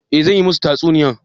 Toh zan yi musu tatsuniyar